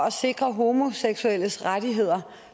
at sikre homoseksuelles rettigheder